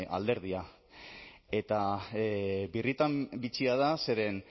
alderdia eta birritan bitxia da zeren